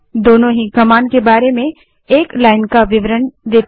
दोनों ही कमांड के बारे में एक लाइन का विवरण देते हैं